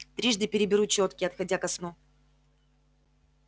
трижды переберу чётки отходя ко сну